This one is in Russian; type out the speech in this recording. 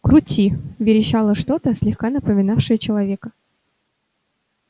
крути верещало что-то слегка напоминавшее человека